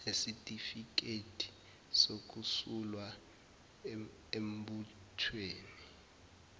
nesitifiketi sokusulwa embuthweni